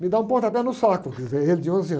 Me dá um pontapé no saco, quer dizer, ele de onze anos.